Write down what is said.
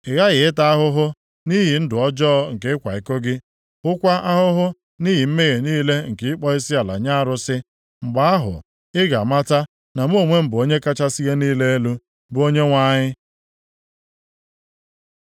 Ị ghaghị ịta ahụhụ nʼihi ndụ ọjọọ nke ịkwa iko gị, hụkwaa ahụhụ nʼihi mmehie niile nke ịkpọ isiala nye arụsị. Mgbe ahụ ị ga-amata na mụ onwe m bụ Onye kachasị ihe niile elu, bụ Onyenwe anyị.”